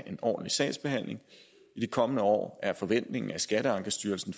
en ordentlig sagsbehandling i de kommende år er forventningen at skatteankestyrelsen